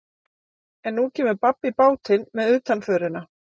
En nú kemur babb í bátinn með utanförina.